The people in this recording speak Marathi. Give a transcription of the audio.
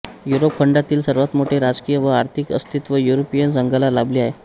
युरोप खंडातील सर्वात मोठे राजकीय व आर्थिक अस्तित्व युरोपियन संघाला लाभले आहे